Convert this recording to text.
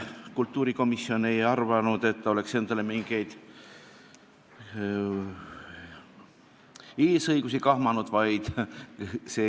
Kultuurikomisjon ei arvanud, et meil on õigus kahmata endale mingeid eesõigusi.